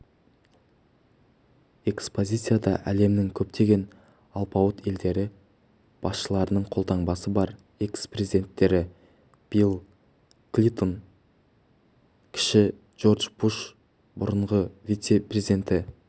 экспозицияда әлемнің көптеген алпауыт елдері басшыларының қолтаңбасы бар экс-президенттері билл клинтон кіші джордж буш бұрынғы вице-президенті